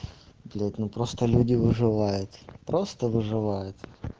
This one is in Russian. блять ну просто люди выживают просто выживают